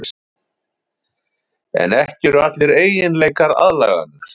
En ekki eru allir eiginleikar aðlaganir.